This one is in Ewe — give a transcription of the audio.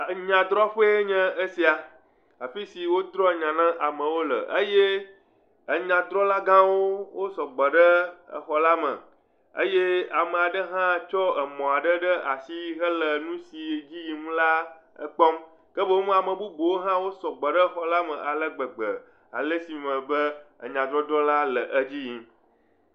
Enyadrɔƒee nye esia, afi si wodrɔ nya na amewo le eye enyadrɔla gãwo wo sɔgbɔ ɖe exɔ la me eye ame aɖe hã tsɔ emɔ ɖe asi hele nu si dze yim la kpɔm. Ke boŋ hã ame bubuwo sɔgbɔ ɖe exɔ la me ale gbegbe ale si me be enyadɔdrɔla le edzi yim.